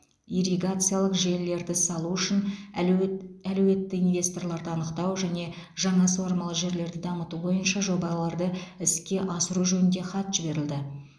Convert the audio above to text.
ирригациялық желілерді салу үшін әлеует әлеуетті инвесторларды анықтау және жаңа суармалы жерлерді дамыту бойынша жобаларды іске асыру жөнінде хат жіберілді